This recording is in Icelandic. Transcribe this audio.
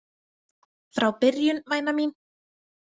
Frá byrjun, væna mín.